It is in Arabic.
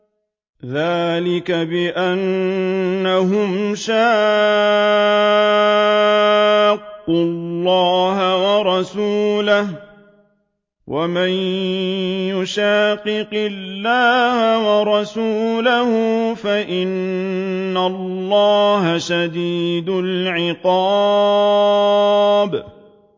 ذَٰلِكَ بِأَنَّهُمْ شَاقُّوا اللَّهَ وَرَسُولَهُ ۚ وَمَن يُشَاقِقِ اللَّهَ وَرَسُولَهُ فَإِنَّ اللَّهَ شَدِيدُ الْعِقَابِ